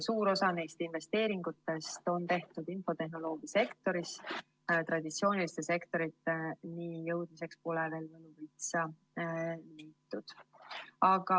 Suur osa neist investeeringutest on tehtud infotehnoloogia sektoris, traditsiooniliste sektoriteni jõudmiseks pole veel võluvitsa leitud.